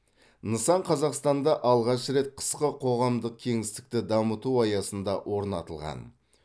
нысан қазақстанда алғаш рет қысқы қоғамдық кеңістікті дамыту аясында орнатылған